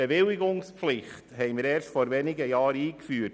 Wir haben die Bewilligungspflicht erst vor wenigen Jahren eingeführt.